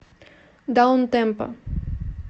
даунтемпо